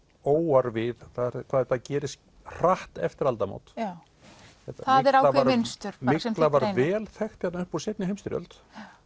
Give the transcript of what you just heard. óar við eru hvað þetta gerist hratt eftir aldamót mygla var vel þekkt hérna upp úr seinni heimsstyrjöld